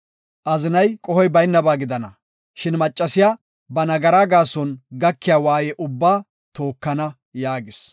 Azinay, qohoy baynaba gidana, shin macciya ba nagaraa gaason gakiya waaye ubbaa tookana” yaagis.